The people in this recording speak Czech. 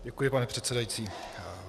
Děkuji pane předsedající.